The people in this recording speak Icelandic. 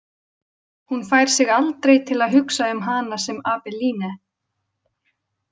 Hún fær sig aldrei til að hugsa um hana sem Abeline.